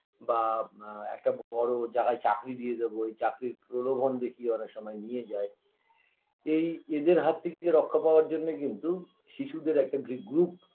বা ম একটা বড়ো যা হয় চাকরি দিয়ে দেব এই চাকরির প্রলোভন দেখিয়ে অনেক সময় নিয়ে যায় এই এদের হাত থেকে রক্ষা পাওয়ার জন্যে কিন্তু শিশুদের একটা গ্রিপ group